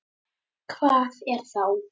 Hvað er það þá?